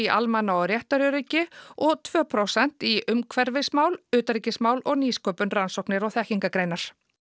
almanna og réttaröryggi og tvö prósent í umhverfismál utanríkismál og nýsköpun rannsóknir og þekkingargreinar